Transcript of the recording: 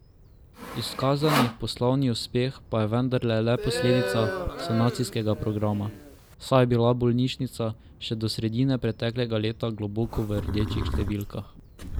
Izkazani poslovni uspeh pa je vendarle le posledica sanacijskega programa, saj je bila bolnišnica še do sredine preteklega leta globoko v rdečih številkah.